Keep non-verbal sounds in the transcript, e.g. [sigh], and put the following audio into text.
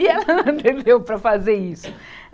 E [unintelligible] entendeu para fazer isso.